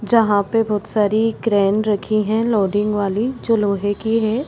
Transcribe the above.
जहाँ पे बहुत सारी क्रेन रखी है लोडिंग वाली जो लोहे की है।